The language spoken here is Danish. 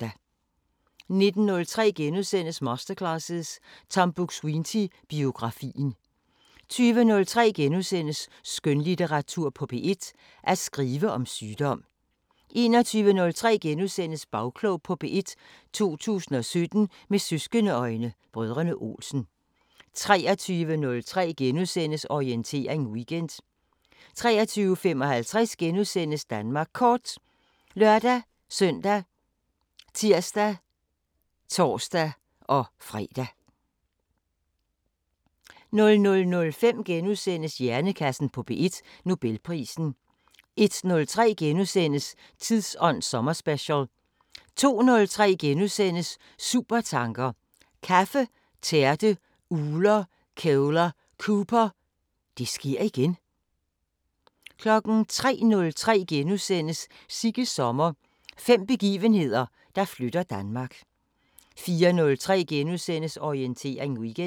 19:03: Masterclasses – Tom Buk-Swienty: Biografien * 20:03: Skønlitteratur på P1: At skrive om sygdom * 21:03: Bagklog på P1: 2017 med søskende-øjne: Brødrene Olsen * 23:03: Orientering Weekend * 23:55: Danmark Kort *( lør-søn, tir, tor-fre) 00:05: Hjernekassen på P1: Nobelprisen * 01:03: Tidsånd sommerspecial * 02:03: Supertanker: Kaffe, tærte, ugler, kævler, Cooper – Det sker igen! * 03:03: Sigges sommer – fem begivenheder, der flytter Danmark * 04:03: Orientering Weekend *